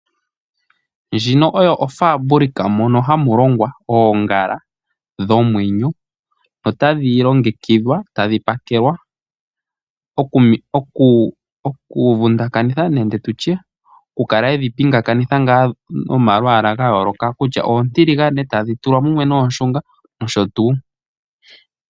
Ndjino oyo ofaabulikika ndjoka hayi longo oongala dhomwenyo. Otadhi longekidhwa yadho pakelwa. Oongala otadhi vundakanithwa noku pinganithwa nomalwaala ga yooloka kutya oontiligane tadhi tulwa mumwe noonshunga.